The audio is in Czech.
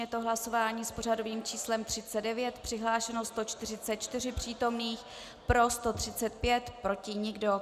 Je to hlasování s pořadovým číslem 39, přihlášeno 144 přítomných, pro 135, proti nikdo.